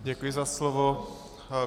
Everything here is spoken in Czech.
Děkuji za slovo.